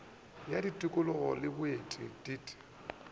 ya tikolog le boeti deat